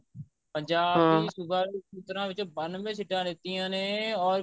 ਪੰਜਾਬ ਦੇ ਸੂਬਾ ਵਿੱਚੋ ਬੰਨਵੇਂ ਸਿੱਟਾ ਲੀਤੀਆਂ ਨੇ or